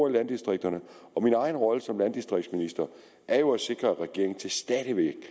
i landdistrikterne og min egen rolle som landdistriktsminister er jo at sikre at regeringen til stadighed